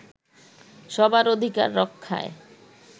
সবার অধিকার রক্ষায়